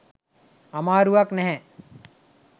අමාරුවක් නැහැ.